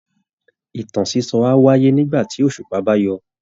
Ìtàn sísọ á wáyé nígbà tí òṣùpá bá yọ